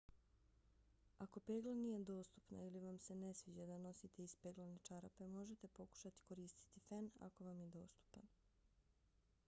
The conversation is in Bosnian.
ako pegla nije dostupna ili vam se ne sviđa da nosite ispeglane čarape možete pokušati koristiti fen ako vam je dostupan